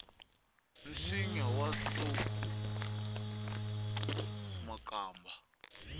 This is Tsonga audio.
nsinya wu hluku makamba